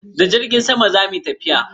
Da jirgin sama zamu yi tafiyan?